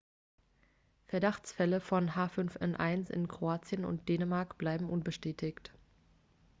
verdachtsfälle von h5n1 in kroatien und dänemark bleiben unbestätigt